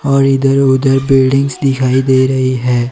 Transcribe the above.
और इधर उधर बिल्डिंगस दिखाई दे रही है।